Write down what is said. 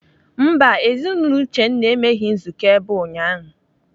Mba, Ezinaụlọ Uchenna emeghị nzukọ ebe a ụnyaahụ.